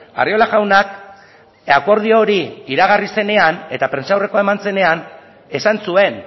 arriola jaunak akordio hori iragarri zenean eta prentsaurrekoa eman zenean esan zuen